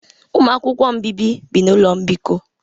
Ụmụ akwụkwọ nbibi bi na ụlọ mbikọ